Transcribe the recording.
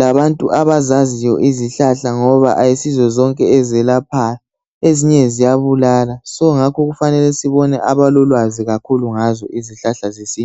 labantu abayaziyo izihlahla ngoba ayisizo zonke ezelaphayo ezinye ziyabulala ngakho kufanele sibone abalolwazi ngazo.